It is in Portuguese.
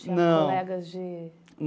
Tinha colegas de...